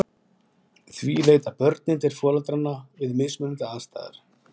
Því leita börnin til foreldranna við mismunandi aðstæður.